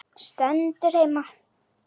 Stendur heima!